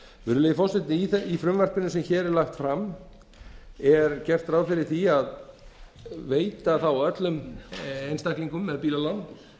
virðulegi forseti í frumvarpinu sem hér er lagt fram er gert ráð fyrir því að veita þá öllum einstaklingum með bílalán